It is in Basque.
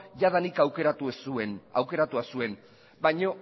jadanik aukeratua zuen baina